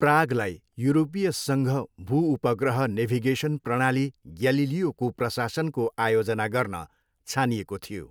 प्रागलाई यूरोपीय सङ्घ भूउपग्रह नेभिगेसन प्रणाली ग्यालिलियोको प्रशासनको आयोजना गर्न छानिएको थियो।